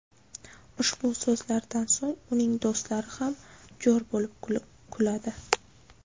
Ushbu so‘zlardan so‘ng uning do‘stlari ham jo‘r bo‘lib kuladi.